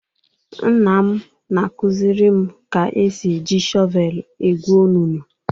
Nna m na-akuziri m ka e si eji shọvelu egwu onunu.